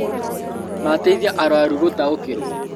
Mateithia arũaru gũtaũkĩrwo